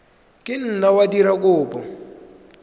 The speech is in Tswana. ka nna wa dira kopo